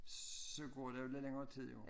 Så går der jo lidt længere tid jo